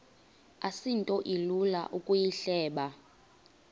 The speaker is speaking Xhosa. asinto ilula ukuyihleba